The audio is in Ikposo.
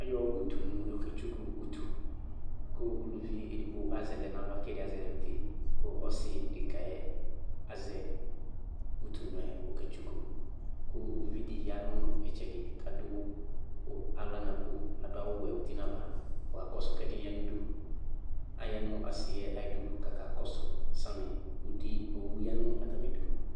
Ayɔ utunu yɔketsuku utu kʋ uluvi edigbo azɛ lɛ nʋ aɣla kʋ ɛdɩ azɛ lɛ nʋ uti kʋ ɔsɩ dekǝ yɛ azɛ utunu yɛ kʋ ɔketsuku kʋ uvi dɩ ya nʋ ɩtsɛdɩ kʋ adʋ ʋ aɣla nʋ akpo, adʋ awʋwɛ uti nʋ ava kʋ ɔkakɔsʋ kʋ ɛdɩ ya nʋ udu. Aya nʋ asɩ yɛ ayidu kʋ akakɔsʋ samɩ. Uti owu ya nʋ atamɩdu.